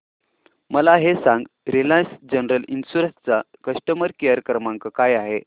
मला हे सांग रिलायन्स जनरल इन्शुरंस चा कस्टमर केअर क्रमांक काय आहे